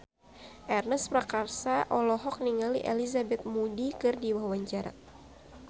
Ernest Prakasa olohok ningali Elizabeth Moody keur diwawancara